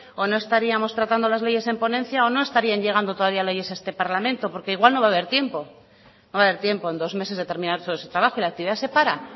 o no estaríamos tratando las leyes en ponencia o no estarían llegando todavía leyes a este parlamento porque igual no va a haber tiempo no va a haber tiempo en dos meses de terminar estos trabajos la actividad se para